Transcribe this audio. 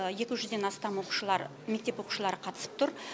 екі жүзден астам оқушылар мектеп оқушылары қатысып тұр